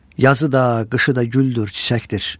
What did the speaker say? Yazı da, qışı da güldür, çiçəkdir.